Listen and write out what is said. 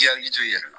I hakili to i yɛrɛ